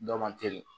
Dɔ man teli